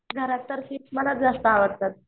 घरात तर फिश मलाच जास्त आवडतात.